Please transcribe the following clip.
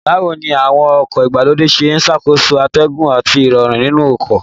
Báwo ni àwọn ọkọ̀ ìgbàlódé ṣe ń ṣàkóso atẹ́gùn àti Ìrọ̀rùn nínú ọkọ̀